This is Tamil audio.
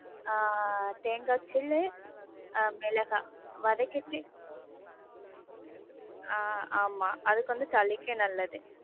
ஆஹ் தேங்காய் சில்லு, ஆஹ் ஏலக்காய், வதக்கிட்டு, ஆஹ் ஆமா அதுக்கு வந்து சளிக்கு நல்லது.